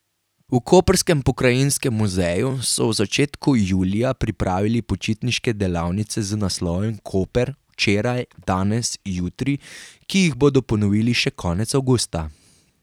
V koprskem pokrajinskem muzeju so v začetku julija pripravili počitniške delavnice z naslovom Koper včeraj, danes, jutri, ki jih bodo ponovili še konec avgusta.